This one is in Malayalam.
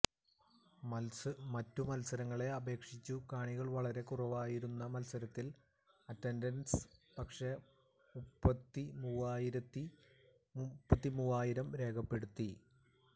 മറ്റു മത്സരങ്ങളെ അപേക്ഷിച്ചു കാണികൾ വളരെ കുറവായിരുന്ന മത്സരത്തിൽ അറ്റന്റൻസ് പക്ഷെ മുപ്പത്തി മൂവായിരം രേഖപ്പെടുത്തി